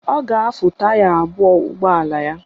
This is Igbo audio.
Ọ ga-afụ taya ụgbọala ya.